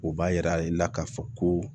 O b'a yira i la ka fɔ ko